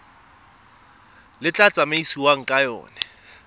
le tla tsamaisiwang ka yona